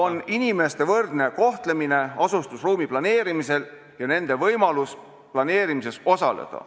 ... on inimeste võrdne kohtlemine asustusruumi planeerimisel ja nende võimalus planeerimises osaleda.